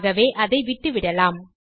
ஆகவே அதை விட்டுவிடலாம்